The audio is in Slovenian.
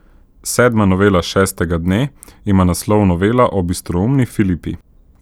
Sedma novela šestega dne ima naslov Novela o bistroumni Filipi.